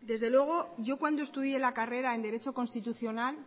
desde luego yo cuando estudié la carrera en derecho constitucional